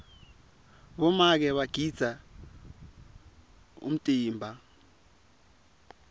bomake bagidza umtsimba